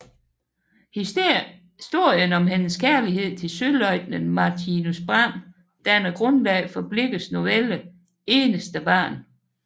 Historien om hendes kærlighed til søløjtnanten Martinus Braem danner grundlag for Blichers novelle Eneste Barn